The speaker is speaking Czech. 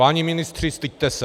Páni ministři, styďte se!